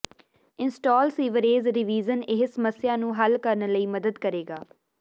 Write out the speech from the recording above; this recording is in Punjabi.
ਇੰਸਟਾਲ ਸੀਵਰੇਜ ਰੀਵਿਜ਼ਨ ਇਹ ਸਮੱਸਿਆ ਨੂੰ ਹੱਲ ਕਰਨ ਲਈ ਮਦਦ ਕਰੇਗਾ